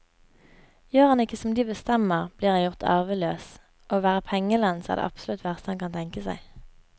Gjør han ikke som de bestemmer, blir han gjort arveløs, og å være pengelens er det absolutt verste han kan tenke seg.